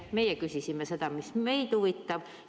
Meie küsisime seda, mis meid huvitab.